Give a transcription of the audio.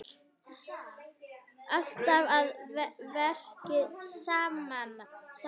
Alltaf að verki saman.